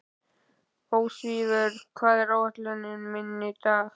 Ósvífur, hvað er á áætluninni minni í dag?